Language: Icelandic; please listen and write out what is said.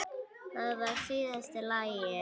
Það var síðasta lagið.